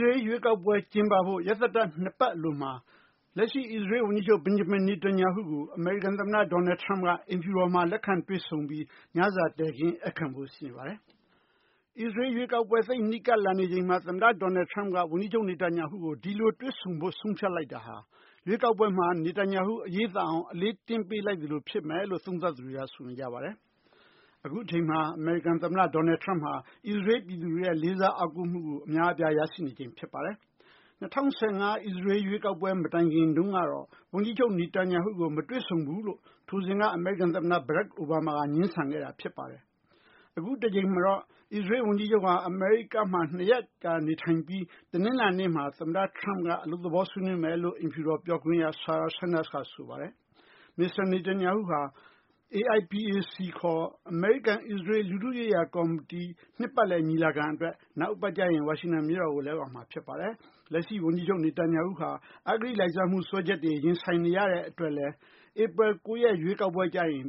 ရေးလ် ရွေးကောက်ပွဲ ကျင်းပဖို့ ရက်သတ္တပတ် ၂ ပတ် အလိုမှာ လက်ရှိ အစ္စရေးလ် ဝန်ကြီးချုပ် Netanyahu ကို အမေရိကန် သမ္မတ Donald Trump က အိမ်ဖြူတော်မှာ လက်ခံတွေ့ဆုံပြီး ညစာတည်ခင်း ဧည့်ခံဖို့ ရှိနေပါတယ်။ အစ္စရေးလ် ရွေးကောက်ပွဲ သိပ်နီးကပ်လာနေချိန်မှာ သမ္မတ Donald Trump က ဝန်ကြီးချုပ် နေတန်ယာဟုကို ဒီလိုတွေ့ဆုံဖို့ ဆုံးဖြတ်လိုက်တာဟာ ရွေးကောက်ပွဲမှာ နေတန်ယာဟု အရေးသာအောင် အလေးတင်းပေးလိုက်သလို ဖြစ်မယ်လို့ သုံးသပ်သူတွေက ဆိုနေကြပါတယ်။ အခုအချိန်မှာ အမေရိကန် သမ္မတ Donald Trump ဟာ အစ္စရေးလ် ပြည်သူတွေရဲ့ လေးစား အားကိုးမှုကို အများအပြား ရရှိနေချိန် ဖြစ်ပါတယ်။ ၂၀၁၅ အစ္စရေးလ် ရွေးကောက်ပွဲ မတိုင်ခင် တုန်းကတော့ ဝန်ကြီးချုပ် Netanyahu ကို မတွေ့ဆုံဘူးလို့ ထိုစဉ်က အမေရိကန် သမ္မတ Barack Obama က ငြင်းဆန်ခဲ့တာ ဖြစ်ပါတယ်။ အခုတကြိမ်မှာတော့ အစ္စရေးလ် ဝန်ကြီးချုပ်ဟာ အမေရိကမှာ ၂ ရက်ကြာ နေထိုင်ပြီး တနလာၤနေ့မှာ သမ္မတ Trump က အလုပ်သဘော ဆွေးနွေးမယ်လို့ အိမ်ဖြူတော် ပြောခွင့်ရ Sarah Sanders က ဆိုပါတယ်။ မစ္စတာ Netanyahu ဟာ AIPAC ခေါ် အမေရိကန် အစ္စရေးလ် လူထုရေးရာ ကော်မတီ နှစ်ပတ်လည် ညီလာခံ အတွက် နောက်အပတ်ကျရင် ဝါရှင်တန် မြို့တော်ကို ရောက်လာမှာ ဖြစ်ပါတယ်။ လက်ရှိ ဝန်ကြီးချုပ် နေတန်ယာဟု ဟာ အဂတိ လိုက်စားမှု စွဲချက်တွေ ရင်ဆိုင်နေရတဲ့ အတွက်လည်း ဧပြီ ၉ ရက် ရွေးကောက်ပွဲ ကျရင်